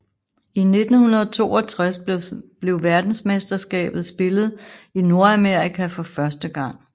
I 1962 blev verdensmesterskabet spillet i Nordamerika for første gang